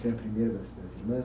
Você á a primeira das, das irmãs?